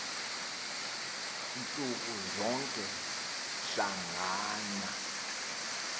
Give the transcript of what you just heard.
ntsuku zoku hlangana